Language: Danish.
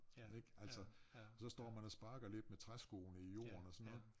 Ik altså og så står man og sparker lidt med træskoene i jorden og sådan noget